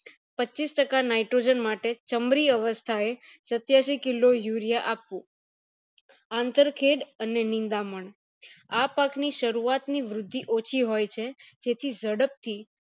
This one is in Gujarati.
પચીસ ટકા nitrogen માટે અવસ્થા એ સત્યાસી kilo urea આપવું આંતર ખેડ અને નિંદામણ આ પાક ની શરૂવાત ની વૃદ્ધિ ઓછી હોય છે જેથી જડપ થી